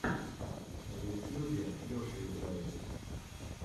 на ютьюбе леша играет